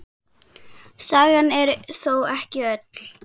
Sagan er þó ekki öll.